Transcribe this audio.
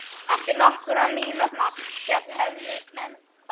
Eftir nokkurra mínútna spjall hefðu menn kvaðst.